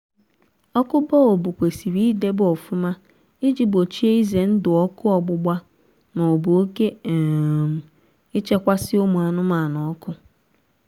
ọkụ bọlbụ kwesịrị idebe ọfụma iji gbochie ize ndụ ọkụ ọgbụgba maọbụ oke um ichekwasi ụmụ anụmanụ ọkụ